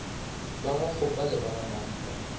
ba gakgopa le ba gamampa